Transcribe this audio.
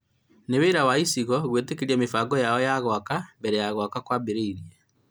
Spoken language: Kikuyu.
nĩ wĩra wa icigo gwĩtĩkĩria mĩbango yao ya gwaka mbere ya gwaka kwambĩrĩirie